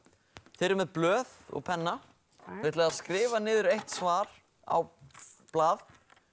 þið eruð með blöð og penna þið ætlið að skrifa niður eitt svar á blað